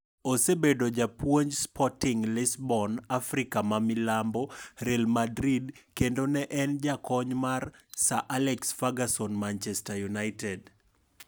Osebedo japuonj Sporting Lisbon, Afrika ma milambo, Real Madrid kendo ne en jakony mar Sir Alex Ferguson Manchester United.